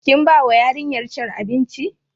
Kinbawa yarinyar abinci?